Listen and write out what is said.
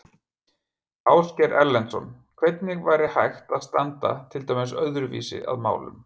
Ásgeir Erlendsson: Hvernig væri hægt að standa til dæmis öðruvísi að málum?